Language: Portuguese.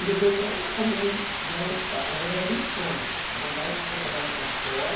E depois eu acabei, né na verdade era um sonho, uma vontade de trabalhar lá fora.